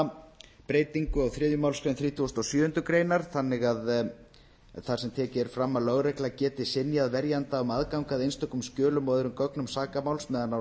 að nefna breytingu á þriðju málsgrein þrítugustu og sjöundu greinar þar sem tekið er fram að lögregla geti synjað verjanda um aðgang að einstökum skjölum og öðrum gögnum sakamáls meðan á